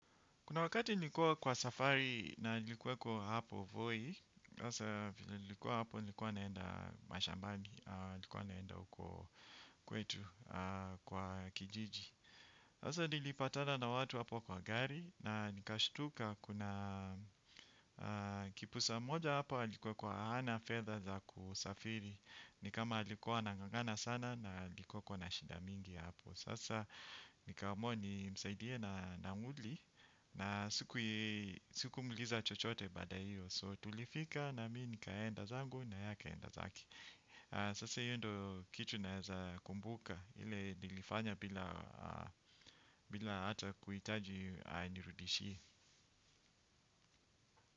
Kuna wakati nilikuwa kwa safari na nilikuwa kwa hapo Voi, sasa vile nilikuwa hapo nilikuwa naenda mashambani, nilikuwa naenda huko kwetu kwa kijiji. Sasa nilipatana na watu hapo kwa gari, na nikashtuka kuna kipusa mmoja hapo alikuwa kwa hana fedha za kusafiri, nikama alikuwa anang'ang'ana sana na alikuwa kwa na shida mingi hapo. Sasa nikaamua nimsaidie na nauli na sikumuuliza chochote baada ya hiyo so tulifika na mi nikaenda zangu na ye akaenda zake. Sasa hiyo ndo kitu naweza kumbuka ile nilifanya bila hata kuhitaji anirudishie.